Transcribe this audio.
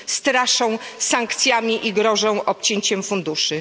straszą sankcjami i grożą obcięciem funduszy.